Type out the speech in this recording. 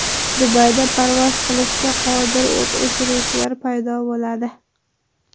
Dubayda parvoz qilishga qodir o‘t o‘chiruvchilar paydo bo‘ladi.